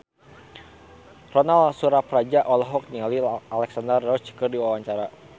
Ronal Surapradja olohok ningali Alexandra Roach keur diwawancara